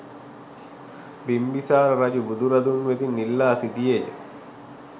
බිම්බිසාර රජු බුදු රදුන් වෙතින් ඉල්ලා සිටියේ ය.